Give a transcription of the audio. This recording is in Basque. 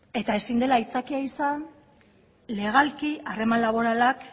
eta ezin dela aitzakia izan legalki harreman laboralak